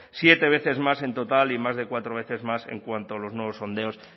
siete veces más en total y más de cuatro veces más en cuanto a los nuevos sondeos